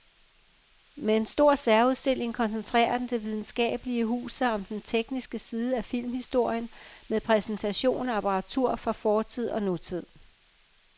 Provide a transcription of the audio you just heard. Med en stor særudstilling koncentrerer det videnskabelige hus sig om den tekniske side af filmhistorien med præsentation af apparatur fra fortid og nutid.